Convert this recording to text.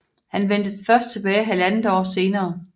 Han vendte først tilbage 1½ år senere